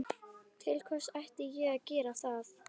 Til hvers ætti ég að gera það?